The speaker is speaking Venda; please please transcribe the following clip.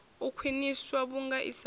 u khwiniswa vhunga i sa